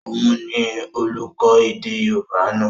Òun ni olùkọ́ èdè yóòbá náà